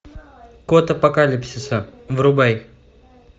код апокалипсиса врубай